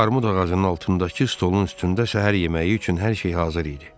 Armud ağacının altındakı stolun üstündə səhər yeməyi üçün hər şey hazır idi.